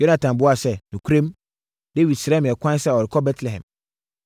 Yonatan buaa sɛ, “Nokorɛm, Dawid srɛɛ me ɛkwan sɛ ɔrekɔ Betlehem.